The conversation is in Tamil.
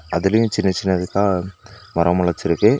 அதுலயு சின்ன சின்னதிக்கா மரோ மொலச்சிருக்கு.